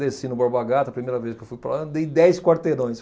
Desci no Borba Gato a primeira vez que eu fui para lá, andei dez quarteirões.